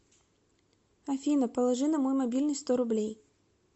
афина положи на мой мобильный сто рублей